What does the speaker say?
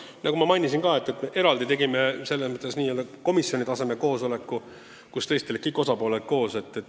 Jaa, nagu ma mainisin, me tegime komisjoni tasemel eraldi koosoleku, kus olid kõik osapooled kohal.